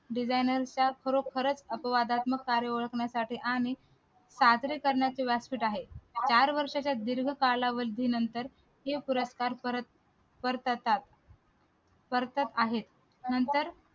designer चा खरोखरच अपवादात्मक कार्य ओळखण्यासाठी आणि करण्याशिवाय व्यासपीठ आहे चार वर्षाच्या दीर्घ कालावधीनंतर ही प्रथा परत करतात आहेत नंतर